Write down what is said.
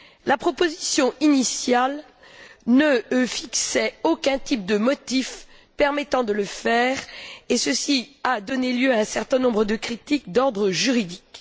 La proposition initiale ne fixait aucun type de motif permettant de le faire, ce qui a donné lieu à un certain nombre de critiques d'ordre juridique.